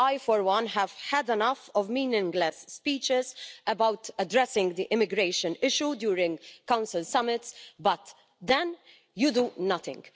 I for one have had enough of meaningless speeches about addressing the immigration issue during Council summits but then you do nothing.